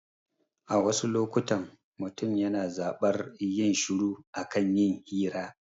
A wasu lokutan, mutum yana zaɓar yin shiru a kan yin hira